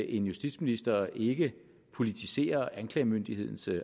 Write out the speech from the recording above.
en justitsminister ikke politiserer anklagemyndighedens